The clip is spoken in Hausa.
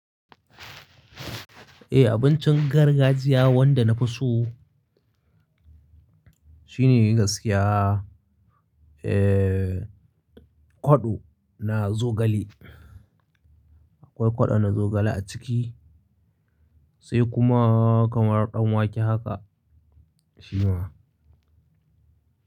Eh, abincin gargajiya wanda na fi so shine gaskiya, eh, kwaɗo na zogale. Akwai kwaɗo na zogale a ciki sai kuma kamar ɗanwake haka shi ma.